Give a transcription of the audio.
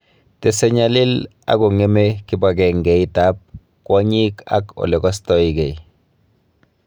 Tese kenyalil akong'eme kibogengeit ab kwonyik ak ole kastoygei